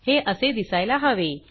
हे असे दिसायला हवे